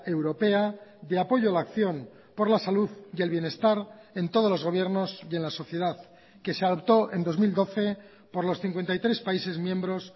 europea de apoyo a la acción por la salud y el bienestar en todos los gobiernos y en la sociedad que se adoptó en dos mil doce por los cincuenta y tres países miembros